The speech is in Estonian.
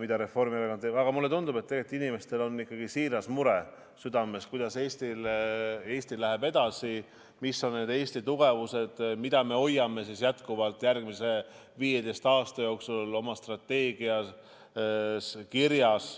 mida Reformierakond teeb, aga mulle tundub, et inimestel on tegelikult ikkagi siiras mure südames, kuidas Eesti läheb edasi, mis on need Eesti tugevused, mida me hoiame jätkuvalt järgmise 15 aasta jooksul oma strateegias kirjas.